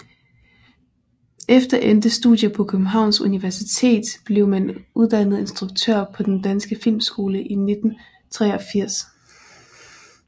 Efter endte studier på Københavns Universitet blev han uddannet instruktør på Den Danske Filmskole i 1983